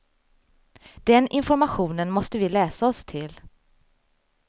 Den informationen måste vi läsa oss till.